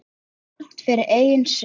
Þrátt fyrir eigin sök.